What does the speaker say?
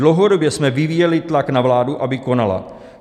Dlouhodobě jsme vyvíjeli tlak na vládu, aby konala.